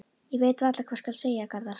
Ég veit varla hvað skal segja, Garðar.